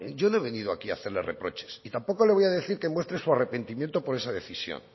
no he venido aquí a hacerle reproches y tampoco le voy a decir que muestre su arrepentimiento por esa decisión